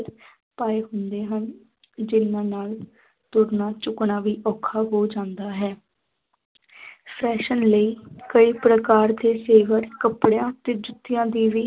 ਪਾਏ ਹੁੰਦੇ ਹਨ ਜਿਹਨਾਂ ਨਾਲ ਤੁਰਨਾ ਝੁਕਣਾ ਵੀ ਔਖਾ ਹੋ ਜਾਂਦਾ ਹੈ fashion ਲਈ ਕਈ ਪ੍ਰਕਾਰ ਦੇ ਜੇਵਰ ਕੱਪੜਿਆਂ ਅਤੇ ਜੁੱਤਿਆਂ ਦੀ ਵੀ